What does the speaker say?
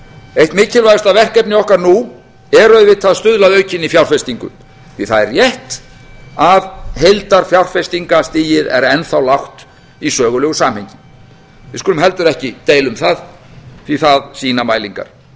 eitt mikilvægasta verkefni okkar nú er auðvitað að stuðla að aukinni fjárfestingu því að það er rétt að heildarfjárfestingarstigið er enn þá lágt í sögulegu samhengi við skulum heldur ekki deila um það því að það sýna mælingar